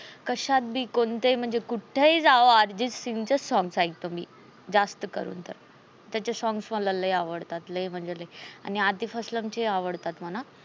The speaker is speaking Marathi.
कश्यात बी कोणत ही मंजे कुठेही जावा. अर्जित सिंगचेच songs एकते मी ज्यास्त करून त त्याचे songs मला लय आवडतात. आणि आतिफ अस्लम चे आवडतात मला.